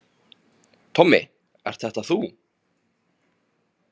Tommi, ert þetta þú?